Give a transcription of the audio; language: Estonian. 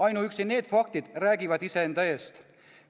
Ainuüksi need faktid räägivad iseenda eest.